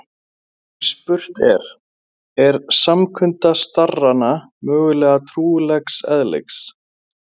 Og spurt er: er samkunda starrana mögulega trúarlegs eðlis?